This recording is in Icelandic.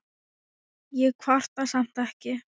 Ég kvarta samt ekki.